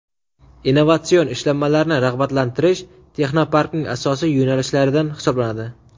innovatsion ishlanmalarni rag‘batlantirish Texnoparkning asosiy yo‘nalishlaridan hisoblanadi.